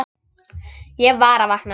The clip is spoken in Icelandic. Ég var að vakna.